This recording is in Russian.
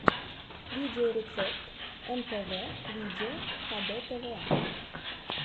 видеорецепт мпв видео хдтв